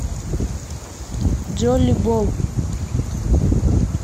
джоллиболл